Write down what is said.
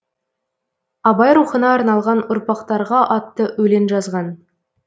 абай рухына арналған ұрпақтарға атты өлең жазған